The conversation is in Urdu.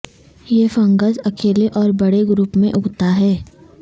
یہ فنگس اکیلے اور بڑے گروپ میں اگتا ہے